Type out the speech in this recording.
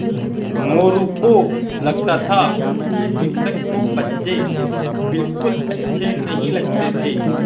मोरू को लगता था कि शिक्षक को बच्चे बिलकुल अच्छे नहीं लगते थे